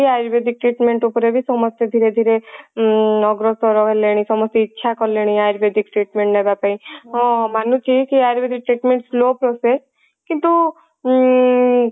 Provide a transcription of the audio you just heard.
ayurvedic treatment ଉପରେ ବି ସମସ୍ତେ ଧୀରେ ଧୀରେ ଉଁ ଅଗ୍ରସର ହେଲେଣି ସମସ୍ତେ ଇଚ୍ଛା କଲେଣି ayurvedic treatment ନବା ପାଇଁ ହଁ ମାନୁଛି କି ayurvedic treatment slow process କିନ୍ତୁ ଉଁ